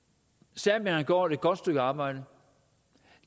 serbien har gjort et godt stykke arbejde